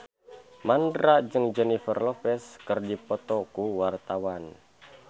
Mandra jeung Jennifer Lopez keur dipoto ku wartawan